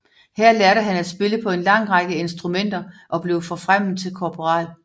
Her lærte han at spille på en lang række instrumenter og blev forfremmet til korporal